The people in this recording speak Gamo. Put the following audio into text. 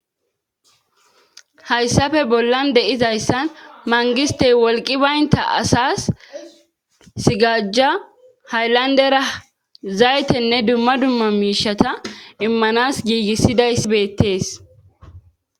Hayssafe bollan deizayssan mangistey wolqi baynta asas sigajja hayllandera zaytenne dumma dumma miishata immanas giigissidayssi beettees.